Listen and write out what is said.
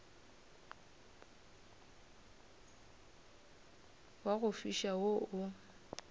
wa go fiša wo o